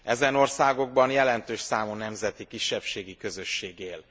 Ezen országokban jelentős számú nemzeti kisebbségi közösség él.